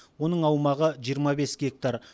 оның аумағы жиырма бес гектар